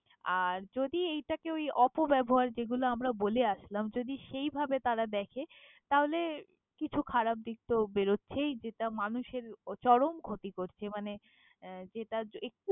আর যদি এইটাকে ওই অপব্যবহার যেগুলো আমরা বলে আসলাম, যদি সেইভাবে তারা দ্যাখে তাহলে, কিছু খারাপ দিক তো বেরোচ্ছেই। যেটা মানুষের চরম ক্ষতি করছে মানে যেটা এ~।